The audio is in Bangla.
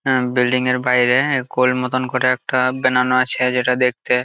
এই বিল্ডিং এর বাইরে গোল মতন করে একটা বানানো আছে যেটা দেখতে--